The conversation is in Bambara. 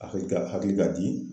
Hakili ka hakili ka di